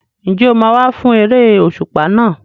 Ǹjẹ́ o máa wá fún eré òṣùpá náà?